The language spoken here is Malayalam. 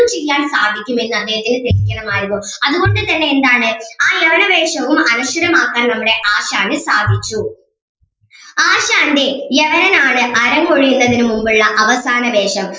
ചെയ്യാൻ സാധിക്കും എന്ന് അദ്ദേഹത്തിനു തെളിയിക്കണമായിരുന്നു അതുകൊണ്ട് തന്നെ എന്താണ് ആ യവന വേഷവും അനശ്വരമാക്കാൻ നമ്മുടെ ആശാന് സാധിച്ചു ആശാന്റെ യവനനാണ് അരങ്ങൊഴിയുന്നതിന് മുൻപുള്ള അവസാന വേഷം